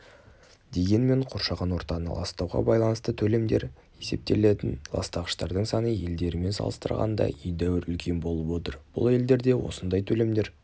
дегенмен қоршаған ортаны ластауға байланысты төлемдер есептелетін ластағыштардың саны елдерімен салыстырғанда едәуір үлкен болып отыр бұл елдерде осындай төлемдер